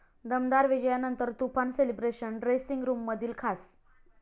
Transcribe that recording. दमदार विजयानंतर तुफान सेलिब्रेशन, ड्रेसिंग रूममधील खास